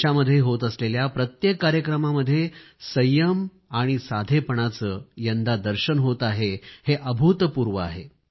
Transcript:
देशामध्ये होत असलेल्या प्रत्येक कार्यक्रमामध्ये संयम आणि साधेपणाचे यंदा दर्शन होत आहे हे अभूतपूर्व आहे